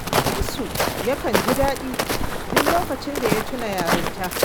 Shamsu yakan ji daɗi duk lokacin da ya tuna yarinta